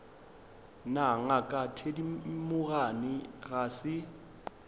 na ngaka thedimogane ga se